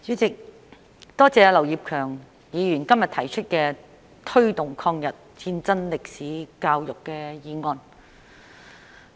主席，多謝劉業強議員今天提出"推動抗日戰爭歷史的教育"議案。